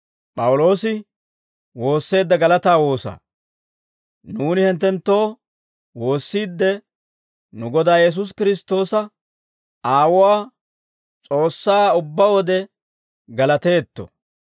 Nuuni hinttenttoo woossiidde, nu Godaa Yesuusi Kiristtoosa Aawuwaa, S'oossaa ubbaa wode galateetto.